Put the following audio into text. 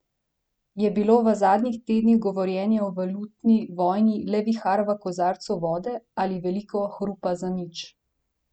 Je bilo v zadnjih tednih govorjenje o valutni vojni le vihar v kozarcu vode ali veliko hrupa za nič?